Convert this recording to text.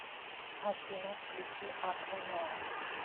афина включить акванеон